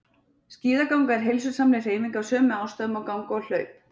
Skíðaganga er heilsusamleg hreyfing af sömu ástæðum og ganga og hlaup.